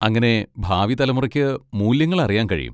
അങ്ങനെ ഭാവി തലമുറയ്ക്ക് മൂല്യങ്ങൾ അറിയാൻ കഴിയും.